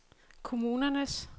kommunernes